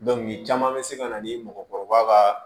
caman bɛ se ka na ni mɔgɔkɔrɔba ka